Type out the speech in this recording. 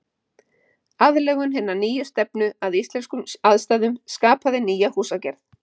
Aðlögun hinnar nýju stefnu að íslenskum aðstæðum skapaði nýja húsagerð.